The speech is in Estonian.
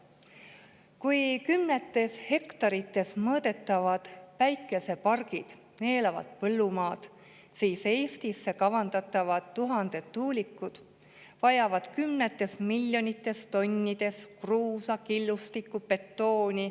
Kui kümnetes hektarites mõõdetavad päikesepargid neelavad põllumaad, siis Eestisse kavandatavad tuhanded tuulikud vajavad kümnetes miljonites tonnides kruusa, killustikku ja betooni.